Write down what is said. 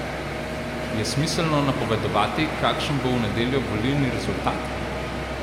Je smiselno napovedovati, kakšen bo v nedeljo volilni rezultat?